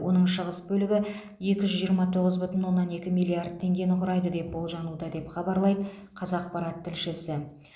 оның шығыс бөлігі екі жүз жиырма тоғыз бүтін оннан екі миллиард теңгені құрайды деп болжануда деп хабарлайды қазақпарат тілшісі